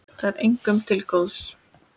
Það er engum til góðs.